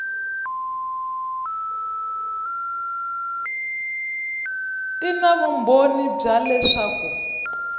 ti na vumbhoni bya leswaku